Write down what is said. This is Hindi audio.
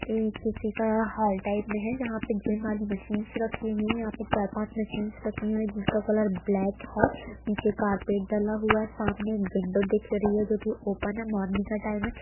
ये किसी का हॉल टाइप में है जहाँ पे जिम वाली मशीन रखी हुई है यहाँ पर चार पाँच मशीनस रखी हुई हैं जिनका कलर ब्लैक है नीचे कार्पेट डला हुआ है सामने एक विंडो दिख रही है जो की ओपन है मॉर्निंग का टाइम है।